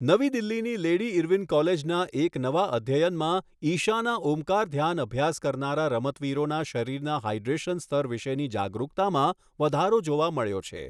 નવી દિલ્હીની Lady Irwin કોલેજના એક નવા અધ્યયનમાં ઈશાના ઓમકાર ધ્યાન અભ્યાસ કરનારા રમતવીરોના શરીરના હાઇડ્રેશન સ્તર વિશેની જાગરૂકતામાં વધારો જોવા મળ્યો છે.